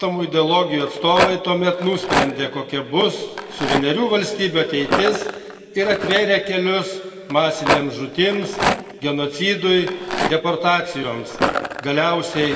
Dviejų nusikalstamų ideologijų atstovai tuomet nusprendė, kokia bus suverenių valstybių ateitis ir atvėrė kelius masinėms žūtims, genocidui, deportacijoms.